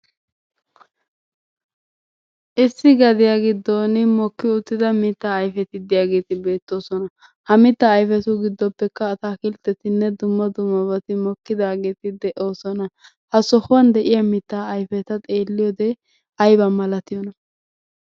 Issi gadiya giddon mokki uttida mitaa ayfeti diyageeti bettoosona. Ha mittaa ayfetuppe giddoppekka ataakkiltteti dumma dummabati mokkidaageeti de'oosona. Ha sohuwan de'iya mittaa ayfeta xeeliyode ayba malatiyona?